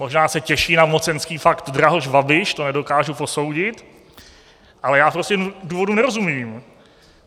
Možná se těší na mocenský pakt Drahoš - Babiš, to nedokážu posoudit, ale já prostě důvodu nerozumím.